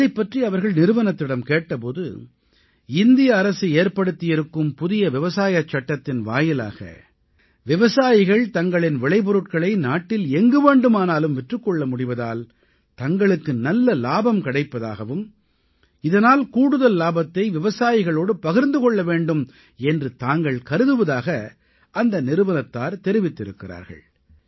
இதைப் பற்றி அவர்கள் நிறுவனத்திடம் கேட்ட போது இந்திய அரசு ஏற்படுத்தியிருக்கும் புதிய விவசாய சட்டத்தின் வாயிலாக விவசாயிகள் தங்களின் விளைபொருட்களை நாட்டில் எங்கு வேண்டுமானாலும் விற்றுக் கொள்ள முடிவதால் தங்களுக்கு நல்ல இலாபம் கிடைப்பதாகவும் இதனால் கூடுதல் இலாபத்தை விவசாயிகளோடு பகிர்ந்து கொள்ள வேண்டும் என்று தாங்கள் கருதுவதாக அந்த நிறுவனத்தார் தெரிவித்திருக்கிறார்கள்